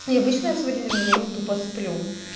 и обычно я в свой день рождения тупо сплю